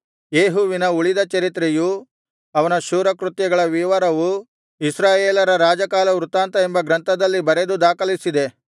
ಯೇಹುವಿನ ಉಳಿದ ಚರಿತ್ರೆಯೂ ಅವನ ಶೂರಕೃತ್ಯಗಳ ವಿವರವೂ ಇಸ್ರಾಯೇಲರ ರಾಜಕಾಲವೃತ್ತಾಂತ ಎಂಬ ಗ್ರಂಥದಲ್ಲಿ ಬರೆದು ದಾಖಲಿಸಿದೆ